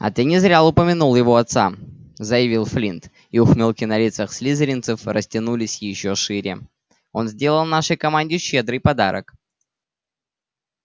а ты не зря упомянул его отца заявил флинт и ухмылки на лицах слизеринцев растянулись ещё шире он сделал нашей команде щедрый подарок